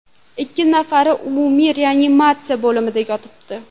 Ikki nafari umumiy reanimatsiya bo‘limida yotibdi.